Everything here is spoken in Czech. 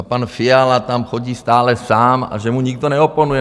A pan Fiala tam chodí stále sám a že mu nikdo neoponuje.